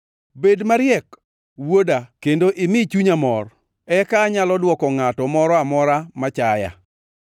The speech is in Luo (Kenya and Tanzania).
Bed mariek, wuoda kendo imi chunya mor eka anyalo dwoko ngʼato moro amora machaya.